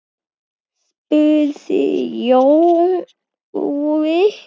spurði Jói.